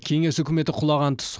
кеңес үкіметі құлаған тұс